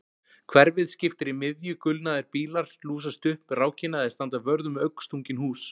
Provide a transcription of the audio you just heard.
Hverfið skiptir í miðju gulnaðir bílar lúsast upp rákina eða standa vörð um augnstungin hús